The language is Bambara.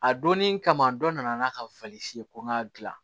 A donnin kama dɔ nana n'a ka falifiyɛ ko n k'a dilan